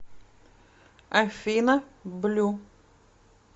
афина блю